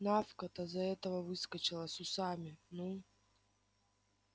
навка-то за этого выскочила с усами ну